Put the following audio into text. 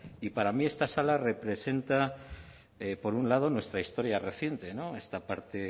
y para mí esta sala representa por un lado nuestra historia reciente esta parte